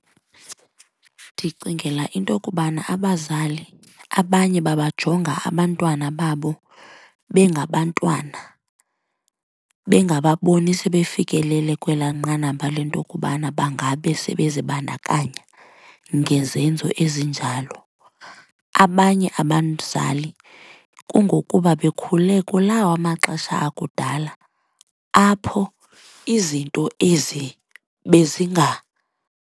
Ndicingela into okubana abazali abanye babajonga abantwana babo bengabantwana bengababoni sebefikelele kwelaa nqanaba lento kubana bangabe sebezibandakanya ngezenzo ezinjalo. Abanye abazali kungokuba bekhule kulawa maxesha akudala apho izinto ezi bezinga.